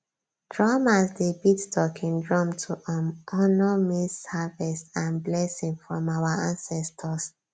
drummers dey beat talking drum to um honour maize harvest and blessing from our ancestors